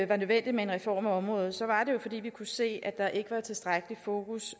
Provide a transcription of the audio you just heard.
var nødvendigt med en reform af området var det jo fordi vi kunne se at der ikke var tilstrækkeligt fokus